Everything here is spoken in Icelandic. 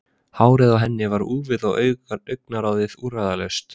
Hárið á henni var úfið og augnaráðið úrræðalaust.